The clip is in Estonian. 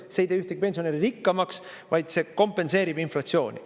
See ei tee ühtegi pensionäri rikkamaks, vaid see kompenseerib inflatsiooni.